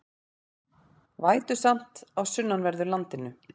Vætusamt á sunnanverðu landinu